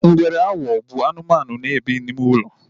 Ngwere awo bụ anụmanụ na-ebe n'ime ulo